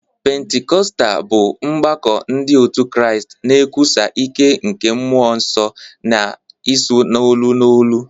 Pentikọstal bụ ọgbakọ ndị otu Kraịst na-ekwusa ike nke Mmụọ Nsọ na ịsụ n'olu n'olu.